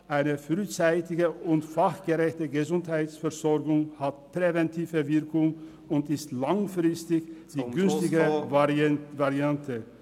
Eine frühzeitige und fachgerechte Gesundheitsversorgung hat eine präventive Wirkung und ist langfristig die günstigere Variante.